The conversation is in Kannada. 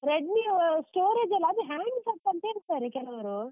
Redmi storage ಎಲ್ಲ, ಅದು hanging set ಅಂತ ಹೇಳ್ತಾರೆ ಕೆಲವರು.